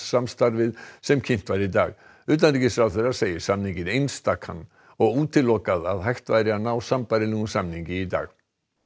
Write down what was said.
samstarfið sem kynnt var í dag utanríkisráðherra segir samninginn einstakan og útilokað að hægt væri að ná sambærilegum samningi í dag